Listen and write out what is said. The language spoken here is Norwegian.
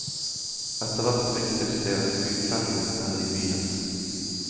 Etterhvert ryktes det at utlendingene er i byen.